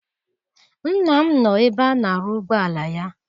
Nna m nọ ebe a na-arụ ụgbọala ya.